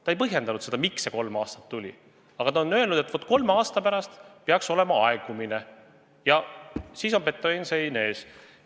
Ta ei põhjendanud, miks see kolm aastat hea on, aga ta on öelnud, et kolme aasta pärast peaks olema aegumine ja siis on betoonsein ees.